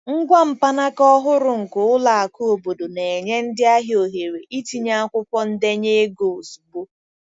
Ngwa mkpanaka ọhụrụ nke ụlọ akụ obodo na-enye ndị ahịa ohere itinye akwụkwọ ndenye ego ozugbo.